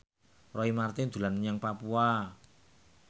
Roy Marten dolan menyang Papua